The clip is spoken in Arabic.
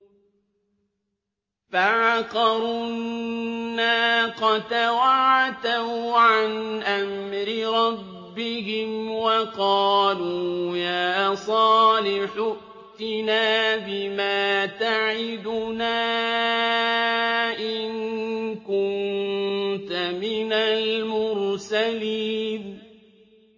فَعَقَرُوا النَّاقَةَ وَعَتَوْا عَنْ أَمْرِ رَبِّهِمْ وَقَالُوا يَا صَالِحُ ائْتِنَا بِمَا تَعِدُنَا إِن كُنتَ مِنَ الْمُرْسَلِينَ